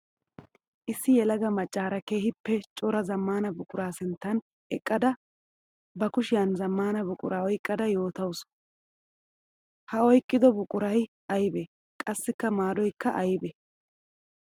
Issi yelaga macara keehippe cora zamaana buqura sinttan eqqadda ba kushiyan zamana buqura oyqqadda yootawussu, ha oyqqiddo buquray aybe? Qassikka maaddoykka aybe?